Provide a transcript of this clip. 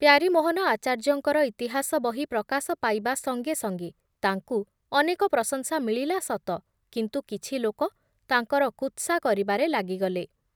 ପ୍ୟାରୀମୋହନ ଆଚାର୍ଯ୍ୟଙ୍କର ଇତିହାସ ବହି ପ୍ରକାଶ ପାଇବା ସଙ୍ଗେ ସଙ୍ଗେ ତାଙ୍କୁ ଅନେକ ପ୍ରଶଂସା ମିଳିଲା ସତ, କିନ୍ତୁ କିଛି ଲୋକ ତାଙ୍କର କୁତ୍ସା କରିବାରେ ଲାଗିଗଲେ ।